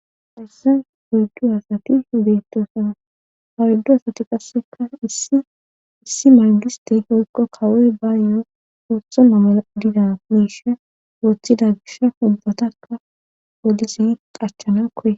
herse oydu hasati beettosana haruddu asati qasseka issi margistey hoykko kawoy ba yo7 ooththo namaa dida meishe wooththida gisha ubbatakka wodisi qachana koye